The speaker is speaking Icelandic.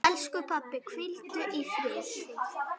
Elsku pabbi, hvíldu í friði.